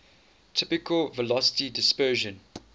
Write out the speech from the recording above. typical velocity dispersion